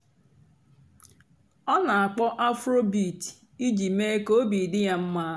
ọ́ nà-àkpọ́ afróbeat ìjì méé kà óbị́ dị́ yá m̀má.